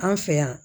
An fɛ yan